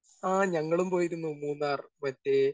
Speaker 1 ആ ഞങ്ങളും പോയിരുന്നു മൂന്നാർ. മറ്റേ